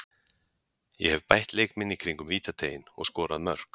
Ég hef bætt leik minn í kringum vítateiginn og skorað mörk.